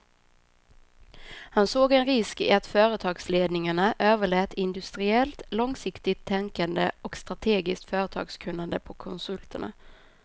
Han såg en risk i att företagsledningarna överlät industriellt långsiktigt tänkande och strategiskt företagskunnande på konsulterna.